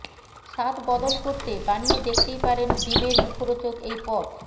স্বাদ বদল করতে বানিয়ে দেখতেই পারেন ডিমের মুখরোচক এই পদ